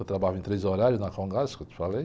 Eu trabalhava em três horários na, que eu te falei.